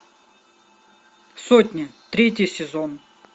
сотня третий сезон